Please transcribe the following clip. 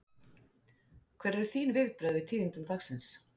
Hver eru þín viðbrögð við tíðindum dagsins?